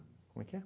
Como é que é?